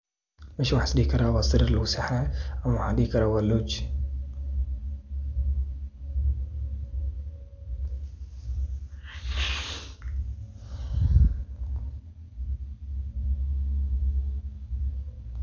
Meshan waxaan is dihi karaa waa sariir lagu seexanay, ama waxaan dihi karaa waa [lodge].